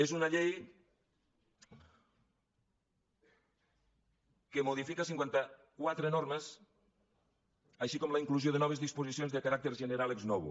és una llei que modifica cinquanta quatre normes així com la inclusió de noves disposicions de caràcter general ex novo